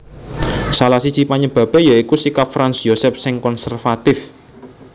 Salah siji panyebabé ya iku sikap Franz Josef sing konservatif